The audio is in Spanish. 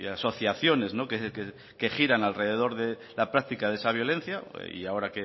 asociaciones que giran alrededor de la práctica de esa violencia y ahora